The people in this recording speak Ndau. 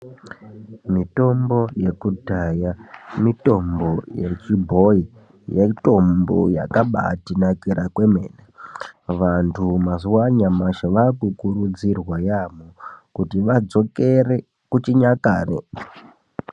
Mitombo ye kudhaya, mitombo yechibhoyi, mitombo yakabaatinakira kwemene. Vantu mazuwa a nyamashi, vaakukurudzirwa yaamho kuti vadzokere kuchinyakare.